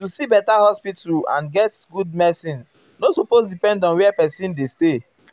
--- to see beta hospital and get good medicin nor supose depend on where pesin dey stay.